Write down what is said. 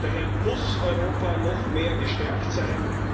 Daher muss Europa noch mehr gestärkt sein.